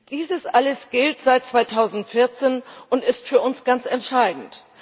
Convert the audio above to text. Dies alles gilt seit 2014 und ist für uns ganz entscheidend.